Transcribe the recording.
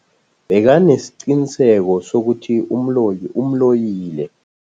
Bekanesiqiniseko sokuthi umloyi umloyile.